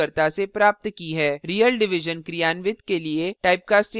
real division क्रियान्वित के लिए typecasting का उपयोग करें